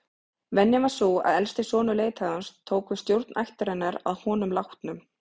Venjan var sú að elsti sonur leiðtogans tók við stjórn ættarinnar að honum látnum.